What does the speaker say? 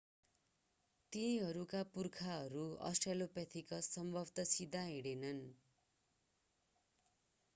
तिनीहरूका पुर्खाहरू अस्ट्रोलोपिथेकस स्वभावतः सिधा हिँडेनन्